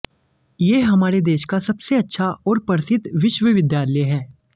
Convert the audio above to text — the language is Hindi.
ये हमारे देश का सबसे अच्छा और प्रसिद्ध विश्वविद्यालय हैं